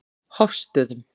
Hofsstöðum